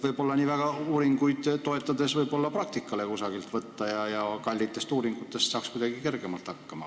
Võib-olla on uuringutele toetumise asemel võimalik kusagilt praktikat võtta ja kallite uuringute asemel saaks kuidagi kergemalt hakkama.